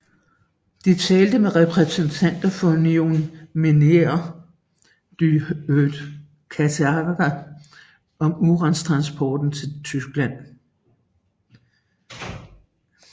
De talte med repræsentanter for Union Minière du Haut Katanga om urantransporter til Tyskland